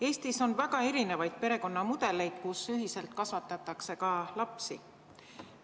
Eestis on väga erinevaid perekonnamudeleid, ühiselt kasvatatakse ka lapsi.